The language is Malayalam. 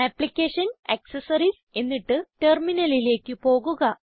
അപ്ലിക്കേഷൻസ് ആക്സസറീസ് എന്നിട്ട് Terminalലേക്ക് പോകുക